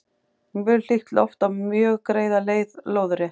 mjög hlýtt loft á mjög greiða leið lóðrétt